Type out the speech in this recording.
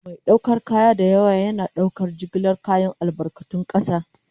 Mai ɗaukar kaya da yawa yana ɗaukar jigilar kayan albarkatun ƙasa.